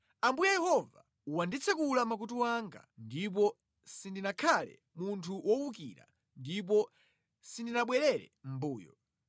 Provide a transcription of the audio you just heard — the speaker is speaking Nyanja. Ambuye Yehova wanditsekula makutu anga, ndipo sindinakhale munthu wowukira ndipo sindinabwerere mʼmbuyo.